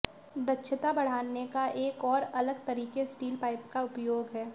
दक्षता बढ़ाने का एक और अलग तरीके स्टील पाइप का उपयोग है